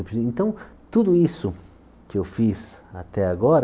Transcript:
Então, tudo isso que eu fiz até agora